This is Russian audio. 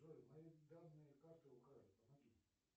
джой мои данные карты украли помоги